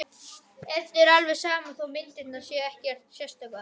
Eddu er alveg sama þó að myndirnar séu ekkert sérstakar.